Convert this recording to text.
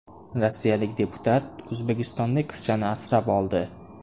Rossiyalik deputat o‘zbekistonlik qizchani asrab oldi .